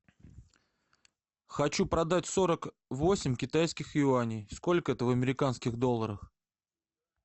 хочу продать сорок восемь китайских юаней сколько это в американских долларах